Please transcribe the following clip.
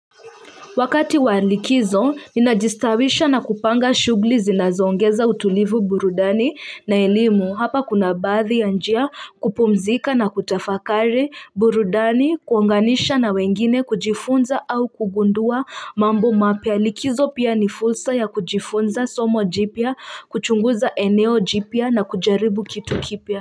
Wakati walikizo ninajistawisha na kupanga shugli zinazongeza utulivu burudani na elimu hapa kuna baathi ya njia kupumzika na kutafakari burudani kuonganisha na wengine kujifunza au kugundua mambo mapya likizo pia ni fursa ya kujifunza somo jipya kuchunguza eneo jipya na kujaribu kitu kipya.